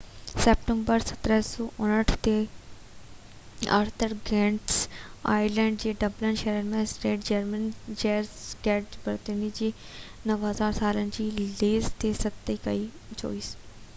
24 September 1759 تي، Arthur Guinness Ireland جي Dublin شهر ۾ سينٽ جيمز گيٽ بريوري جي لاءِ 9،000 سالن جي ليز تي صحي ڪئي